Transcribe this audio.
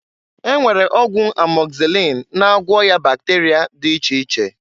E nwere ọgwụ amọgzịlịn na-agwọ ọya bakterịa dị iche iche.